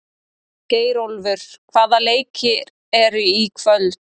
Geirólfur, hvaða leikir eru í kvöld?